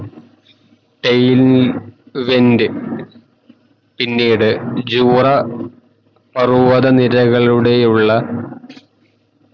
തൈവെൻറ് പിന്നീട് ജുറാ പർവ്വത നിരകളുടെയുള്ള